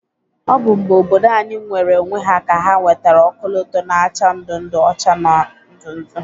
Ọbụ mgbe obodo anyị nweere onwe ha ka ha nwetara ọkọlọtọ na-acha ndu ndu, ọcha na ndu ndu.